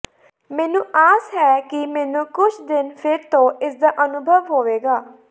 ਮੈਨੂੰ ਆਸ ਹੈ ਕਿ ਮੈਨੂੰ ਕੁਝ ਦਿਨ ਫਿਰ ਤੋਂ ਇਸਦਾ ਅਨੁਭਵ ਹੋਵੇਗਾ